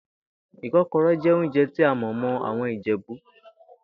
Ìkó̩ko̩ré̩ jé̩ oúnje̩ tí a mò̩ mó̩ àwo̩n Ìjè̩bú